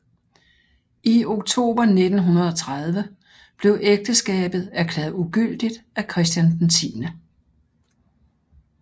I oktober 1930 blev ægteskabet erklæret ugyldigt af Christian 10